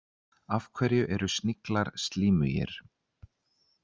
Af hverju eru sniglar slímugir?